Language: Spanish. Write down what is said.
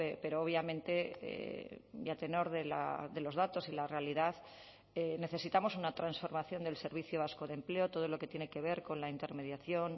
pero obviamente y a tenor de los datos y la realidad necesitamos una transformación del servicio vasco de empleo todo lo que tiene que ver con la intermediación